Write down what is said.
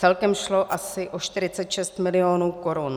Celkem šlo asi o 46 milionů korun.